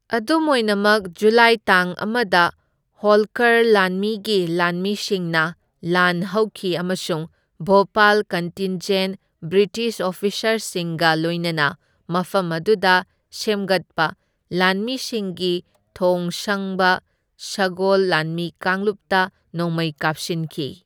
ꯑꯗꯨꯝ ꯑꯣꯏꯅꯃꯛ, ꯖꯨꯂꯥꯏ ꯇꯥꯡ ꯑꯃꯗ ꯍꯣꯜꯀꯔ ꯂꯥꯟꯃꯤꯒꯤ ꯂꯥꯟꯃꯤꯁꯤꯡꯅ ꯂꯥꯟ ꯍꯧꯈꯤ ꯑꯃꯁꯨꯡ ꯚꯣꯄꯥꯜ ꯀꯟꯇꯤꯟꯖꯦꯟꯠ ꯕ꯭ꯔꯤꯇꯤꯁ ꯑꯣꯐꯤꯁꯥꯔꯁꯤꯡꯒ ꯂꯣꯏꯅꯅ ꯃꯐꯝ ꯑꯗꯨꯗ ꯁꯦꯃꯒꯠꯄ ꯂꯥꯟꯃꯤꯁꯤꯡꯒꯤ ꯊꯣꯡ ꯁꯪꯕ ꯁꯒꯣꯜ ꯂꯥꯟꯃꯤ ꯀꯥꯡꯂꯨꯞꯇ ꯅꯣꯡꯃꯩ ꯀꯥꯞꯁꯤꯟꯈꯤ꯫